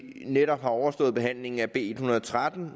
netop har overståede behandling af b en hundrede og tretten